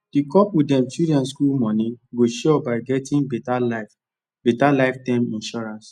the couple dem children school money go sure by getting better life better life term insurance